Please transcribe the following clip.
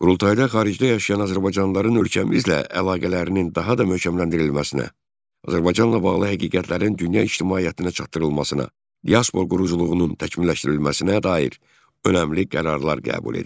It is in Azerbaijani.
Qurultayda xaricdə yaşayan azərbaycanlıların ölkəmizlə əlaqələrinin daha da möhkəmləndirilməsinə, Azərbaycanla bağlı həqiqətlərin dünya ictimaiyyətinə çatdırılmasına, diaspor quruculuğunun təkmilləşdirilməsinə dair önəmli qərarlar qəbul edildi.